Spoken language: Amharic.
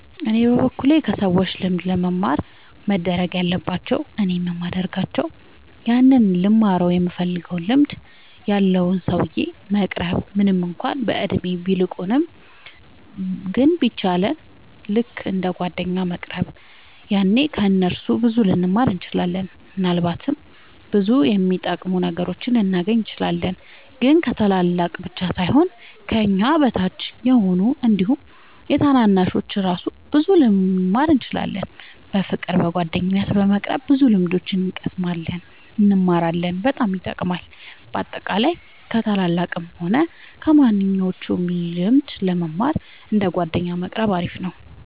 እኔ በበኩሌ ከሰዎች ልምድ ለመማር መደረግ ያለባቸው እኔም የሚደርጋቸው ያንን ልንማረው ይምንፈልገውን ልምድ ያለውን ሰውዬ መቅረብ ምንም እንኳን በእድሜ ቢልቁንም ግን በቻ ልክ እንደ ጓደኛ መቅረብ ያኔ ከ እነሱ ብዙ ልንማር እንችላለን። ምናልባትም ብዙ የሚጠቅሙ ነገሮችን ልናገኝ እንችላለን። ግን ከታላላቅ ብቻ ሳይሆን ከኛ አቻ ከሆኑት አንዲሁም ከታናናሾቹ እራሱ ብዙ ልንማር እንችላለን። በፍቅር በጓደኝነት በመቅረብ ብዙ ልምድ እንቀስማለን እንማራለን በጣም ይጠቅማል። በአጠቃላይ ከ ታላላቅም ሆነ ከማንኞቹም ልምድ ለመማር እንደ ጓደኛ መቆረብ አሪፍ ነው